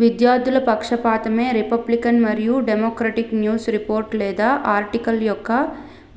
విద్యార్థుల పక్షపాతమే రిపబ్లికన్ మరియు డెమొక్రాటిక్ న్యూస్ రిపోర్ట్ లేదా ఆర్టికల్ యొక్క